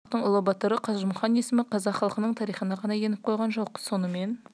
адамына айналған қазақтың ұлы батыры қажымұқан есімі қазақ халқының тарихына ғана еніп қойған жоқ сонымен